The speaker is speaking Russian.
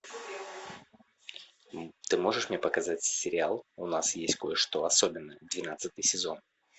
ты можешь мне показать сериал у нас есть кое что особенное двенадцатый сезон